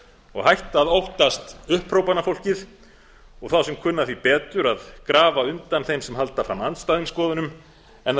og hætt að óttast upphrópanafólkið og þá sem kunna því betur að grafa undan þeim sem halda fram andstæðum skoðunum en að